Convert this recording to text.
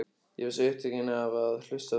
Ég var svo upptekinn af að hlusta á þig.